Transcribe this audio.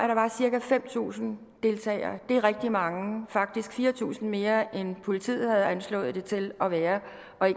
der var cirka fem tusind deltagere det er rigtig mange faktisk fire tusind mere end politiet havde anslået det til at være